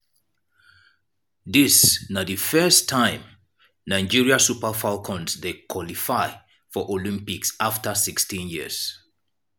dis na di first time nigeria super falcons dey qualify for olympics afta 16 years.